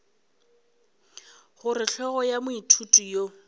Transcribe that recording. gore hlogo ya moithuti yo